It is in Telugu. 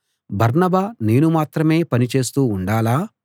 బర్నబా నేను మాత్రమే పని చేస్తూ ఉండాలా